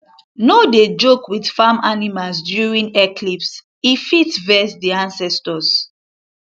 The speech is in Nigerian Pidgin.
no dey joke with farm animals during eclipsee fit vex the ancestors